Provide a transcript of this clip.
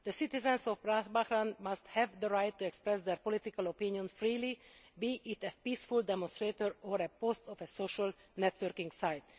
The citizens of Bahrain must have the right to express their political opinion freely, be it at a peaceful demonstration or on a post on a social networking site.